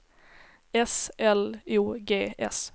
S L O G S